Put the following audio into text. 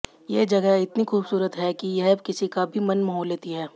ये जगह इतनी खूबसूरत हैं कि यह किसी का भी मन मोह लेती हैं